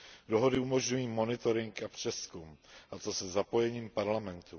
Dohody umožňují monitoring a přezkum, a to se zapojením Parlamentu.